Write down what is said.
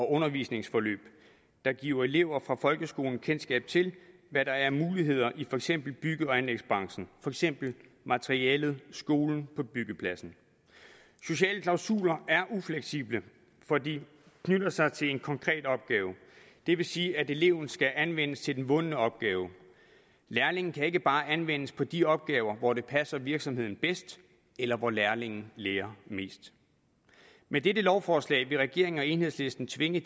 undervisningsforløb der giver elever fra folkeskolen kendskab til hvad der er af muligheder i for eksempel bygge og anlægsbranchen for eksempel materialet skolen på byggepladsen sociale klausuler er ufleksible for de knytter sig til en konkret opgave det vil sige at eleven skal anvendes til en bunden opgave lærlingen kan ikke bare anvendes på de opgaver hvor det passer virksomheden bedst eller hvor lærlingen lærer mest med dette lovforslag vil regeringen og enhedslisten tvinge